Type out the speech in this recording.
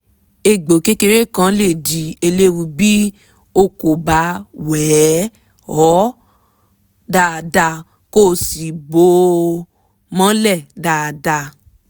egbò kékeré kan lè di eléwu bí o kò bá wẹ̀ ọ́ dáadáa kó o sì bò ó mọ́lẹ̀ dáadáa